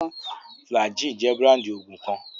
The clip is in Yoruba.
Flagyl jẹ́ búráńdì òògùn kan.